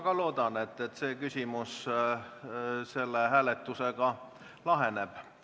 Ma ka loodan, et kogu küsimus selle hääletusega laheneb.